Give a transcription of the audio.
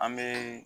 An bɛ